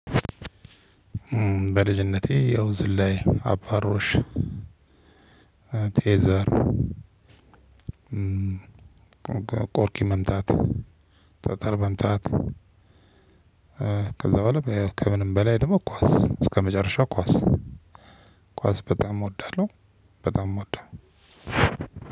በልጅነቴ ያው ዝላይ አባሮሽ ቴዘር ቆርቂ መምታት ጠጠር መምታት ከዛ በኋላ ከምንም በላይ ደግሞ ኳስ እስከመጨረሻው ኳስ ኳስ በጣም እወዳለሁ። በጣም እምወደው።